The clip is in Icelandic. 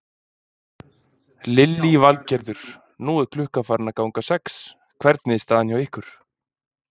Lillý Valgerður: Nú er klukkan farin að ganga sex, hvernig er staðan hjá ykkur?